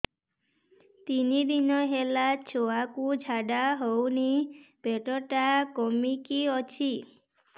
ତିନି ଦିନ ହେଲା ଛୁଆକୁ ଝାଡ଼ା ହଉନି ପେଟ ଟା କିମି କି ଅଛି